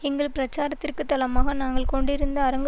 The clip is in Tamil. எங்கள் பிரச்சாரத்திற்குத் தளமாக நாங்கள் கொண்டிருந்த அரங்கு